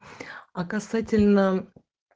а касательно